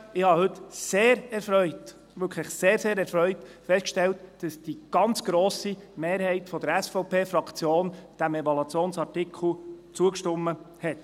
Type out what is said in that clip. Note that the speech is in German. Ich habe heute wirklich sehr, sehr erfreut festgestellt, dass die ganz grosse Mehrheit der SVP-Fraktion diesem Evaluationsartikel zugestimmt hat.